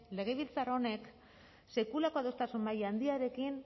legebiltzar honek sekulako adostasun maila handiarekin